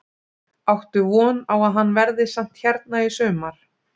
Áttu von á að hann verði samt hérna í sumar?